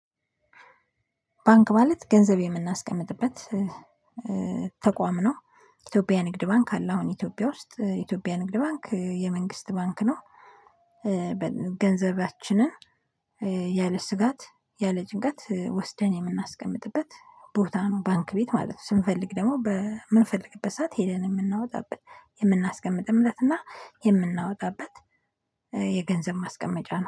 ባንክ ማለት ገንዘብ የምናስቀምጥበት ተቋም ነው። ኢትዮጵያ ንግድ ባንክ አለ አሁን ኢትዮጵያ ውስጥ ኢትዮጵያ ንግድ ባንክ የመንግስት ባንክ ነው። ገንዘባችንን ያለ ስጋት ያለ ጭንቃት ወስደን የምናስቀምጥበት ቦታ ነው። ባንክ ቤት ማለት ነው። ስንፈልግ ደግሞ በ ምንፈልግበት ሰዓት ሄደን የምናወጣበት የምናስቀምጥም ለት እና የምናወጣበት የገንዘብ ማስቀመጫ ነው